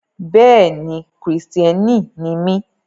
Bẹ́ẹ̀ni, Kristiani ni mi.